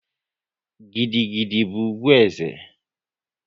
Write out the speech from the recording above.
Gidi gidi bụ ugwu eze